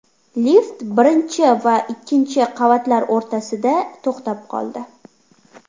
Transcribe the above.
Lift birinchi va ikkinchi qavatlar o‘rtasida to‘xtab qoldi.